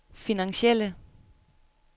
finansielle